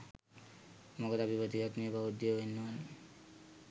මොකද අපි ප්‍රතිපත්තිමය බෞද්ධයෝ වෙන්න ඕනි